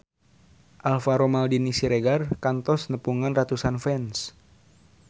Alvaro Maldini Siregar kantos nepungan ratusan fans